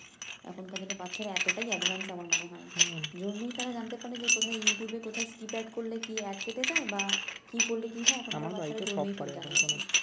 এখনকার দিনের বাচ্চারা এতটাই আমার মনে হয় জন্মেই তারা জানতে পারে যে কোথায় ইউটিউব এর কোথায় কিপ্যাড করলে কি বা কি করলে কি হয় এখনকার বাচ্চারা জন্মেই সব জানে